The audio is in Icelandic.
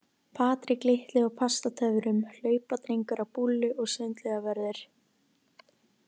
Patrik litli á Pastatöfrum, hlaupadrengur á búllu og sundlaugarvörður.